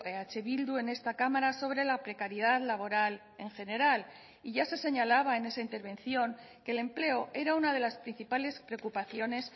eh bildu en esta cámara sobre la precariedad laboral en general y ya se señalaba en esa intervención que el empleo era una de las principales preocupaciones